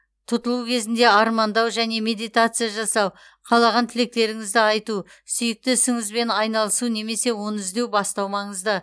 тұтылу кезінде армандау және медитация жасау қалаған тілектеріңізді айту сүйікті ісіңізбен айналысу немесе оны іздеуді бастау маңызды